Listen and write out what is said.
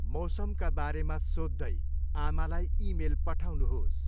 मौसमका बारेमा सोध्दै आमालाई इमेल पठाउनुहोस्।